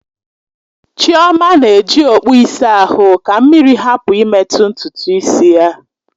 Chioma na-eji okpụ ịsa ahụ ka mmiri hapụ imetụ ntutu isi ya.